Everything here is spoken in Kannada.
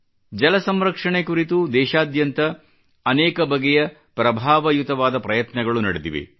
ಜಲಸಂರಕ್ಷಣೆ ಕುರಿತು ದೇಶಾದ್ಯಂತ ಅನೇಕ ಬಗೆಯ ಪ್ರಭಾವಯುತವಾದ ಪ್ರಯತ್ನಗಳು ನಡೆದಿವೆ